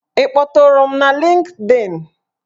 Ị kpọtụrụm na Lịnkdịn?